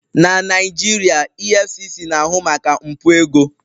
Na Naijiria, EFCC na-ahụ maka mpụ ego